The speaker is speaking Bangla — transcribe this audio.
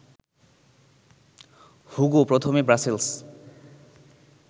হুগো প্রথমে ব্রাসেলস